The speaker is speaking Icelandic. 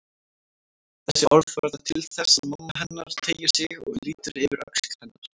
Þessi orð verða til þess að mamma hennar teygir sig og lítur yfir öxl hennar.